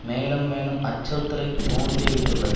மேலும் மேலும் அச்சுறுத்தலையே தூண்டிவிட்டுள்ளது